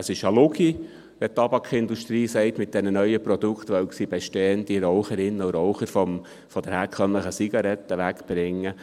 » Es ist eine Lüge, wenn die Tabakindustrie sagt, mit den neuen Produkte wolle sie bestehende Raucherinnen und Raucher von der herkömmlichen Zigarette wegbringen.